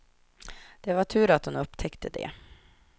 Det var tur att hon upptäckte det.